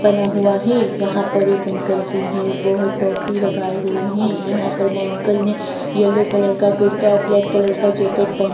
बना हुआ है यहां पर एक अंकल जी हैं वह टॉपी भी लगाए हुए हैं यहां पर वो अंकल ने येलो कलर का कुर्ता और ब्लैक कलर का जैकेट पहन --